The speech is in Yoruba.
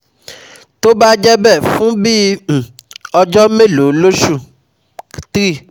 Tó bá jẹ́ bẹ́ẹ̀, fún bí um ọjọ́ mélòó lóṣù? three